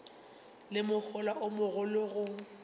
le mohola o mogolo go